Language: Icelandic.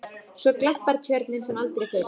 Svo glampar Tjörnin sem aldrei fyrr.